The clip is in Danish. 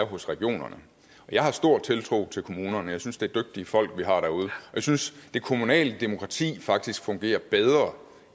hos regionerne og jeg har stor tiltro til kommunerne jeg synes at det er dygtige folk vi har derude og jeg synes at det kommunale demokrati faktisk fungerer bedre